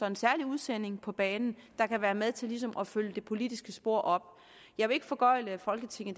en særlig udsending på banen der kan være med til ligesom at følge det politiske spor op jeg vil ikke foregøgle folketinget